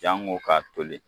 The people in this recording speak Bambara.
Jango ka toli